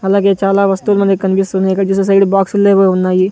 అలాగే చాలా వస్తువులన్నీ కన్పిస్తున్నాయ్ ఇక్కడ చూస్తే సైడు బాక్సుల్లేవో ఉన్నాయి.